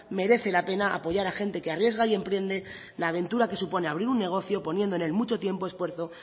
merece la pena apoyar a gente que arriesga y emprende la aventura que supone abrir un negocio poniendo en el mucho tiempo esfuerzo